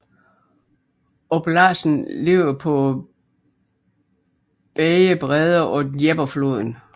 Oblasten ligger på begge breder af Dneprfloden